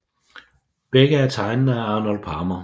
Begge er tegnet af Arnold Palmer